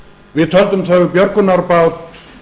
við töldum þau björgunarbát